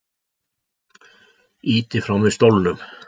Ýti frá mér stólnum.